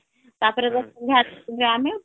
ତାପରେ .ଘାଟ ଆମେ